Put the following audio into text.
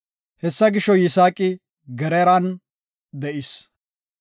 Hessa gisho, Yisaaqi Geraaran de7is.